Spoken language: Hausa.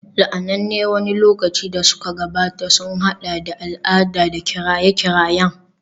La'ananne wani lokaci da suka gabata sun haɗa da al'ada da kiraye-kirayen